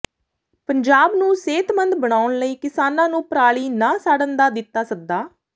ਪੰਜਾਬ ਨੂੰ ਸਿਹਤਮੰਦ ਬਣਾਉਣ ਲਈ ਕਿਸਾਨਾਂ ਨੂੰ ਪਰਾਲੀ ਨਾ ਸਾੜਨ ਦਾ ਦਿੱਤਾ ਸੱਦਾ